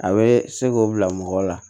A bɛ se k'o bila mɔgɔ la